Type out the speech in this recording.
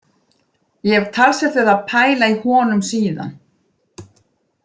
Ég hef talsvert verið að pæla í honum síðan.